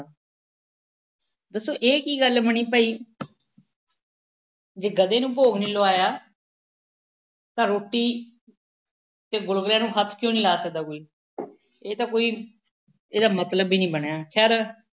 ਦੱਸੋ ਇਹ ਕੀ ਗਲੱ ਬਣੀ ਭਾਈ, ਜੇ ਗਧੇ ਨੂੰ ਭੋਗ ਨਹੀਂ ਲਵਾਇਆ ਤਾਂ ਰੋਟੀ ਅਤੇ ਗੁਲਗੁਲਿਆਂ ਨੂੰ ਹੱਥ ਕਿਉਂ ਨਹੀਂ ਲਾ ਸਕਦਾ ਕੋਈ ਇਹ ਤਾਂ ਕੋਈ ਇਹਦਾ ਮਤਲਬ ਹੀ ਨਹੀਂ ਬਣਿਆ।